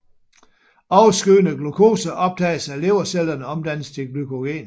Overskydende glukose optages af levercellerne og omdannes til glykogen